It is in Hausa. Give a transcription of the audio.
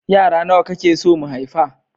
Yara nawa kake so mu haifa?